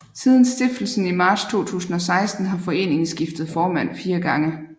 Siden stiftelsen i marts 2016 har foreningen skiftet formand fire gange